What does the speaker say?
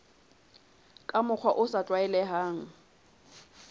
ka mokgwa o sa tlwaelehang